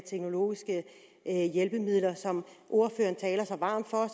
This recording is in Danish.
teknologiske hjælpemidler som ordføreren taler så varmt for og